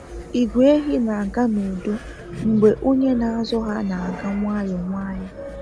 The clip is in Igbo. Igwe ehi na-aga n'udo mbge onye na azụ ha na aga nwayọ nwayọ